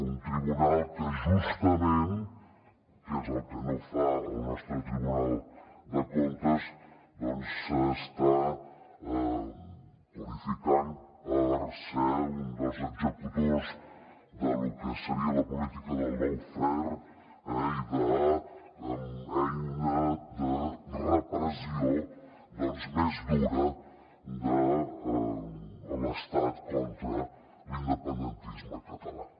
un tribunal que justament que és el que no fa el nostre tribunal de comptes s’està qualificant per haver estat un dels executors de lo que seria la política del lawfare i d’eina de repressió més dura de l’estat contra l’independentisme català